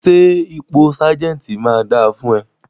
Ṣẹ́ ipò sergeant máa dà fún ẹ?